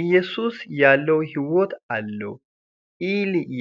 iyesuusi yaalloy hiwota allow